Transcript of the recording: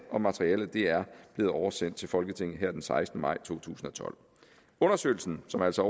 og materialet er blevet oversendt til folketinget her den sekstende maj to tusind og tolv undersøgelsen som altså